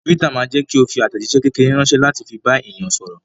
Twitter ma jẹ́kí o fi àtẹ̀jíṣé kékeré ránsẹ́ láti fi bá àwọn èèyàn sọ̀rọ̀